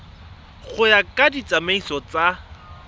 go ya ka ditsamaiso tsa